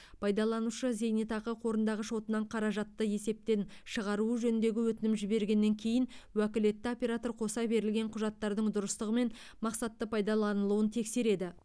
пайдаланушы зенетақы қорындағы шотынан қаражатты есептен шығаруы жөніндегі өтінім жібергеннен кейін уәкілетті оператор қоса берілген құжаттардың дұрыстығы мен мақсатты пайдаланылуын тексереді